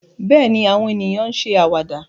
Bẹ́ẹ̀ ni, àwọn ènìyàn ń ṣe àwàdà